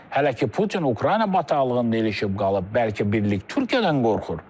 Hələ ki Putin Ukrayna bataqlığında ilişib qalıb, bəlkə birlik Türkiyədən qorxur.